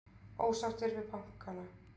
Ósáttir við bankana